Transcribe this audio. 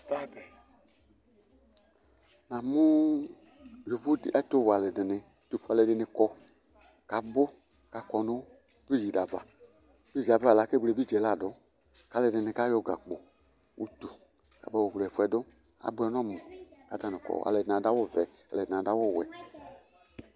Namʋ yovo dɩ ɛtʋwɛ alʋɛdɩnɩ ɛtʋfue alʋɛdɩnɩ kɔ kʋ abʋ kʋ akɔ nʋ bridzi dɩ ava Bridzi yɛ ava la, akewle bridzi yɛla dʋ kʋ alʋɛdɩnɩ kayɔ gakpo, utu kabayɔ wle ɛfʋ yɛ dʋ Abʋɛ nʋ ɔmʋ kʋ atanɩ kɔ, alʋɛdɩnɩ adʋ awʋvɛ, alʋɛdɩnɩ adʋ awʋwɛ